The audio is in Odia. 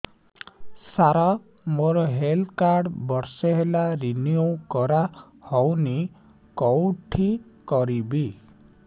ସାର ମୋର ହେଲ୍ଥ କାର୍ଡ ବର୍ଷେ ହେଲା ରିନିଓ କରା ହଉନି କଉଠି କରିବି